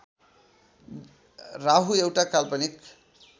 राहु एउटा काल्पनिक